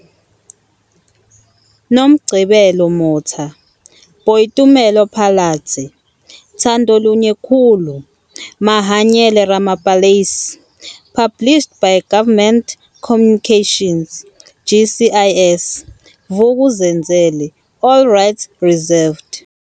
Nomgcibelo Motha - Boitumelo Phalatse, Thandolunye Khulu - Mahanyele Ramapalais published by Government Communications, GCIS, Vuk'uzenzele. All rights reserved.